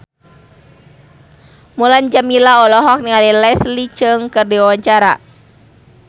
Mulan Jameela olohok ningali Leslie Cheung keur diwawancara